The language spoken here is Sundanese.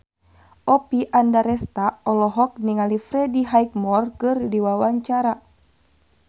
Oppie Andaresta olohok ningali Freddie Highmore keur diwawancara